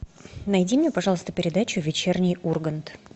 найди мне пожалуйста передачу вечерний ургант